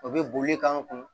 O bɛ boli k'an kun